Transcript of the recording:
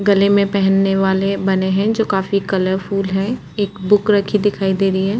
गले में पहनने वाले बने हैं जो काफी कलरफुल है एक बुक रखी दिखाई दे रही है।